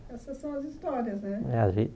Essas são as histórias, né? É a